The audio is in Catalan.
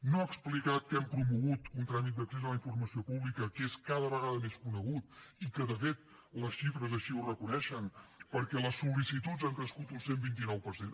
no ha explicat que hem promogut un tràmit d’accés a la informació pública que és cada vegada més conegut i que de fet les xifres així ho reconeixen perquè les sol·licituds han crescut un cent i vint nou per cent